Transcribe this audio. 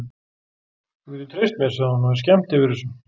Þú getur treyst mér, segir hún og er skemmt yfir þessu.